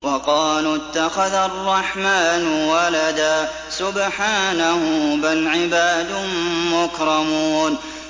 وَقَالُوا اتَّخَذَ الرَّحْمَٰنُ وَلَدًا ۗ سُبْحَانَهُ ۚ بَلْ عِبَادٌ مُّكْرَمُونَ